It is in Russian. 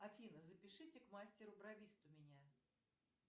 афина запишите к мастеру бровисту меня